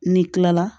N'i kilala